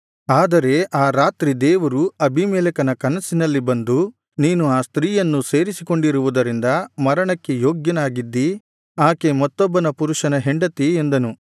ಆದರೆ ಆ ರಾತ್ರಿ ದೇವರು ಅಬೀಮೆಲೆಕನ ಕನಸಿನಲ್ಲಿ ಬಂದು ನೀನು ಆ ಸ್ತ್ರೀಯನ್ನು ಸೇರಿಸಿಕೊಂಡಿರುವುದರಿಂದ ಮರಣಕ್ಕೆ ಯೋಗ್ಯನಾಗಿದ್ದಿ ಆಕೆ ಮತ್ತೊಬ್ಬ ಪುರುಷನ ಹೆಂಡತಿ ಎಂದನು